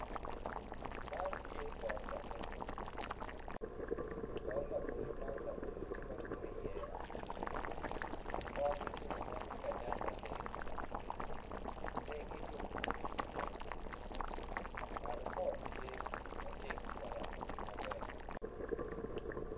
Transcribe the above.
Man tye poto labolo poto labolo man labolo tye ma dwong iye potgi tye ka nen maleng tegi lumlum tye iye malo pol tye ma ceng tye ka romogi maber.